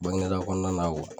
Bangineda kɔnɔna na